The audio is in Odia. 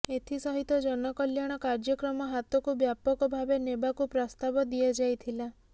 ଏଥି ସହିତ ଜନକଳ୍ୟାଣ କାର୍ଯ୍ୟକ୍ରମ ହାତକୁ ବ୍ୟାପକ ଭାବେ ନେବାକୁ ପ୍ରସ୍ତାବ ଦିଆଯାଇଥିଲା